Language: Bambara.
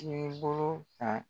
K'i bolo ta